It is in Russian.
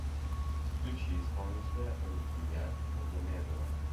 включи исполнителя рукият магомедова